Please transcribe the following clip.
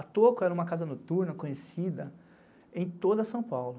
A Toco era uma casa noturna conhecida em toda São Paulo.